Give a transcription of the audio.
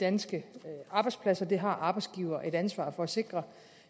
danske arbejdspladser det har arbejdsgiveren et ansvar for at sikre